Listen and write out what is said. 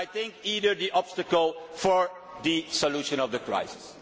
I think they are the obstacle to the solution of the crisis.